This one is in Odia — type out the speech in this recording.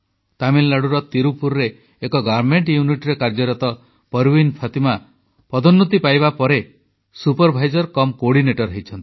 ତାମିଲନାଡୁର ତିରୁପୁରରେ ଏକ ପୋଷାକ ତିଆରି କାରଖାନାରେ କାର୍ଯ୍ୟରତ ପରୱିନ ଫାତିମା ପଦୋନ୍ନତି ପାଇବା ପରେ ସୁପରଭାଇଜର ତଥା କୋଅର୍ଡିନେଟର ହୋଇଛନ୍ତି